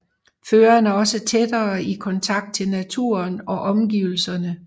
Føreren er også tættere i kontakt til naturen og omgivelserne